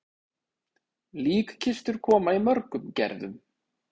Líkkistur koma í mörgum gerðum.